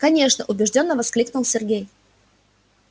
конечно убеждённо воскликнул сергей